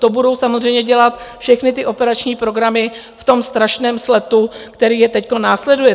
To budou samozřejmě dělat všechny ty operační programy v tom strašném sletu, který je teď následuje.